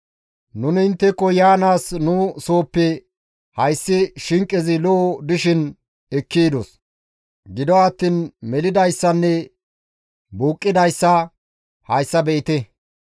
«Nuni intteko yaanaas nu sooppe hayssa shinqezi ho7o dishin ekki yidos; gido attiin melidayssanne buuqqidayssa hayssa be7ite!